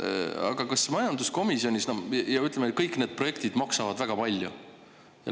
Aga kas majanduskomisjonis … no ja ütleme, et kõik need projektid maksavad väga palju.